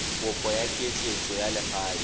kopo ya ketleetso ya legae